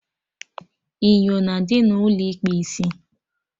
Inyo na adị n'ụlọ ịkpụ isi